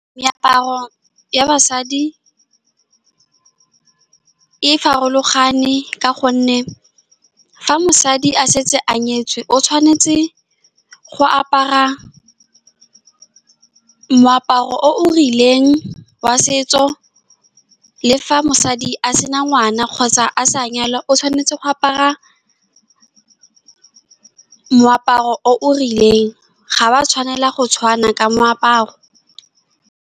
Meaparo ya basadi e farologane ka gonne fa mosadi a setse a nyetswe, o tshwanetse go apara moaparo o o rileng wa setso, le fa mosadi a sena ngwana kgotsa a sa nyalwa, o tshwanetse go apara moaparo o o rileng. Ga wa tshwanela go tshwana ka moaparo.